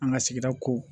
An ka sigida ko